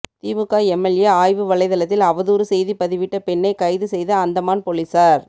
திமுக MLA ஆய்வு வலைதளத்தில் அவதூறு செய்தி பதிவிட்ட பெண்ணை கைது செய்த அந்தமான் போலீசார்